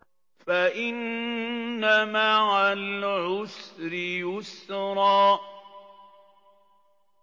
فَإِنَّ مَعَ الْعُسْرِ يُسْرًا